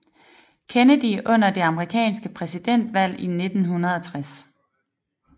Kennedy under det amerikanske præsidentvalg i 1960